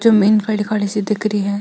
जमीन काली काली सी दिख री है।